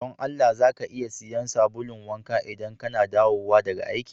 Don Allah ,za ka iya siyan sabulun wanka idan kana dawowa daga aiki?